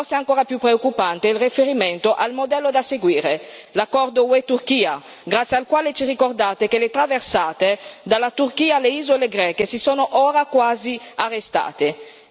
ma forse ancora più preoccupante è il riferimento al modello da seguire l'accordo UE Turchia, grazie al quale ci ricordate che le traversate dalla Turchia alle isole greche si sono ora quasi arrestate!